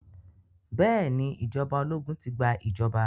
Bẹ́ẹ̀ ni ìjọba ológun ti gba ìjọba.